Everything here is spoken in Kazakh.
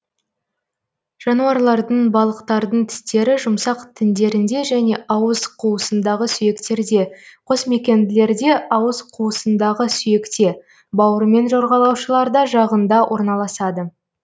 жануарлардың балықтардың тістері жұмсақ тіндерінде және ауыз қуысындағы сүйектерде қосмекенділерде ауыз қуысындағы сүйекте бауырымен жорғалаушыларда жағында орналасады